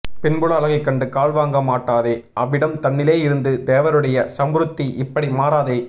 பின்புள்ள அழகைக் கண்டு கால் வாங்க மாட்டாதே அவ்விடம் தன்னிலே இருந்து தேவருடைய ஸம்ருத்தி இப்படி மாறாதே